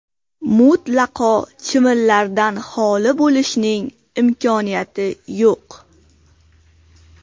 Mutlaqo chivinlardan holi bo‘lishning imkoniyati yo‘q.